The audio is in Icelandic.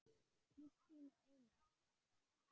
Kristín og Einar.